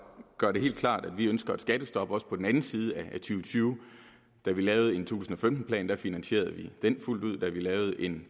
gøre det helt klart at vi ønsker et skattestop også på den anden side af og tyve da vi lavede en to tusind og femten plan finansierede vi den fuldt ud da vi lavede en